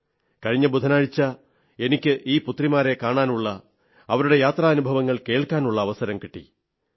കഴിഞ്ഞ ബുധനാഴ്ച എനിക്ക് ഈ പുത്രിമാരെ കാണാനുള്ള അവരുടെ യാത്രാനുഭവങ്ങൾ കേൾക്കാനുള്ള അവസരം കിട്ടി